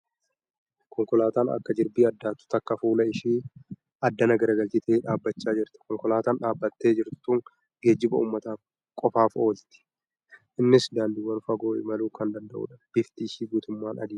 Konkolaataan akka jirbii addaattu takka fuula ishee addana garagalchitee dhaabbachaa jirti. Konkolaataan dhaabbattee jirtu tun geejjiba uummataaf Qofaaf Oola . Innis daandiiwwan fagoo imaluu kan danda'uudha. Bifti ishee guutummaan adiidha.